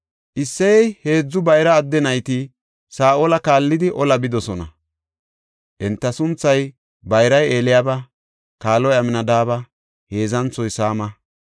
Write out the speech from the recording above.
Isseye heedzu bayra adde nayti Saa7ola kaallidi olaa bidosona. Enta sunthay:- bayray Eliyaaba; kaaloy Amnadaabe; heedzanthoy Saama.